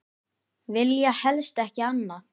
Vilja helst ekki annað.